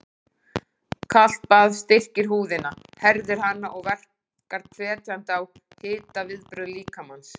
Kalt bað styrkir húðina, herðir hana og verkar hvetjandi á hitaviðbrögð líkamans.